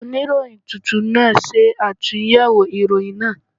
Oníròyìn tuntun náà ṣàtúnyẹ̀wò ìròyìn náà.